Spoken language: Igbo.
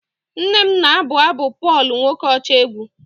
nne m na-abụ abụ Pọl nwokocha egwu